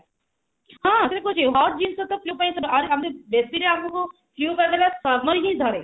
ହଁ ସେଟା ତ କହୁଛି hot ଜିନିଷ flue ପାଇଁ ଆହୁରି ଆହୁରି ବେସିରେ ଆମକୁ flue ଟା ଆମକୁ summer ରେ ହିଁ ଧରେ